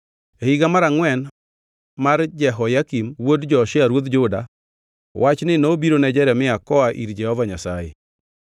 E higa mar angʼwen mar Jehoyakim wuod Josia ruodh Juda, wachni nobiro ne Jeremia koa ir Jehova Nyasaye: